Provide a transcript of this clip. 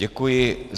Děkuji.